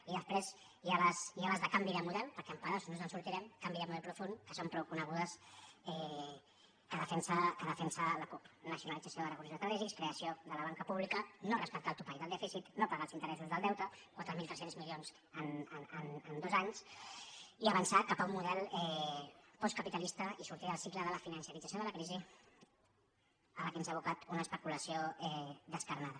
i després hi ha les de canvi de model perquè amb pedaços no ens en sortirem de canvi de model profund que són prou conegudes que defensa la cup nacionalització de recursos estratègics creació de la banca pública no respectar el topall del dèficit no pagar els interessos del deute quatre mil tres cents milions en dos anys i avançar cap a un model postcapitalista i sortir del cicle de la financerització de la crisi a què ens ha abocat una especulació descarnada